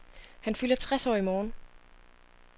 Han fylder tres år i morgen.